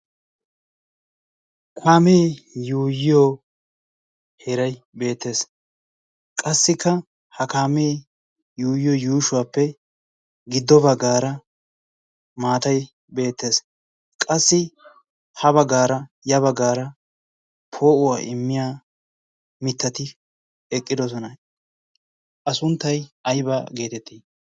kaamee yuuyiyo heray beettees qassikka ha kaamee yuuyiyo yuushuwaappe giddo baggaara maatay beettees qassi ha baggaara ya baggaara poo'uwaa immiya mittati eqqidosona a sunttay ayba geetettii